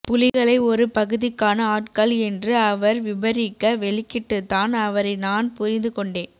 புலிகளை ஒரு பகுதிக்கான ஆட்கள் என்று அவர் விபரிக்க வெளிக்கிட்டுத்தான் அவரை நான் புரிந்து கொண்டேன்